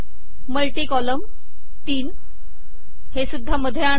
multi column तीन हे सुद्धा मध्ये आणा